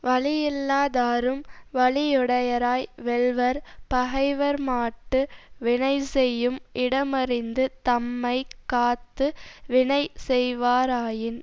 வலியில்லாதாரும் வலியுடையராய் வெல்வர் பகைவர் மாட்டு வினைசெய்யும் இடமறிந்து தம்மை காத்து வினை செய்வாராயின்